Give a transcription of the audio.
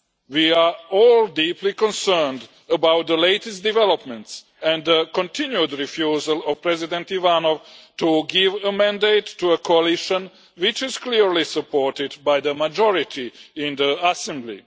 We are all deeply concerned about the latest developments and the continued refusal of President Ivanov to give a mandate to a coalition which is clearly supported by the majority in the assembly.